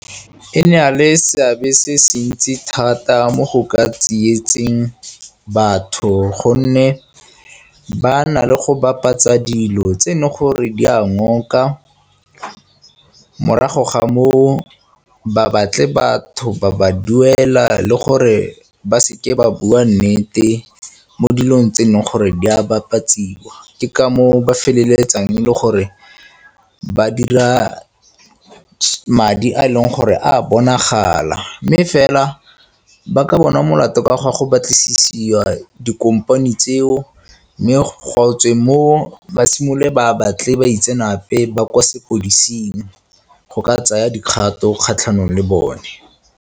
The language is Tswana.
E ne a le seabe se se ntsi thata mo go ka tsietseng batho gonne ba na le go bapatsa dilo tse ne gore di a ngoka, morago ga moo ba batle batho ba ba duela le gore ba seke ba bua nnete mo dilong tse neng gore di a bapatsiwa. Ke ka moo ba feleletsang le gore ba dira madi a e leng gore a bonagala, mme fela ba ka bonwa molato ka gwa go batlisisa dikompani tseo mme go tswe mo ba simololwe ba batle baitseanape ba kwa sepodising go ka tsaya dikgato kgatlhanong le bone.